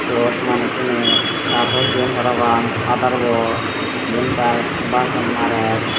eyot manuchune sarch chot jeyon parapang padar bo jempai bason marer.